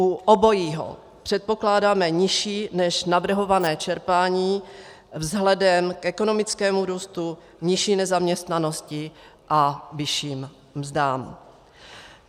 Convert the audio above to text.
U obojího předpokládáme nižší než navrhované čerpání vzhledem k ekonomickému růstu, nižší nezaměstnanosti a vyšším mzdám.